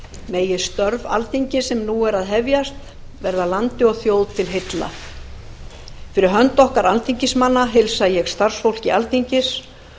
megi störf alþingis sem nú er að hefjast verða landi og þjóð til heilla fyrir hönd okkar alþingismanna heilsa ég starfsfólki alþingis